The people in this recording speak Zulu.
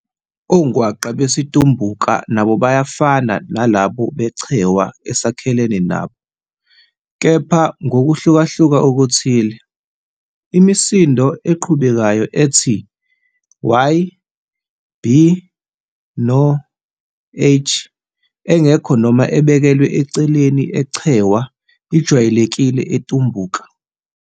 Ongwaqa besiTumbuka nabo bayafana nalabo beChewa esakhelene nabo, kepha ngokuhlukahluka okuthile. Imisindo eqhubekayo ethi Y B no H, engekho noma ebekelwe eceleni eChewa, ijwayelekile eTumbuka.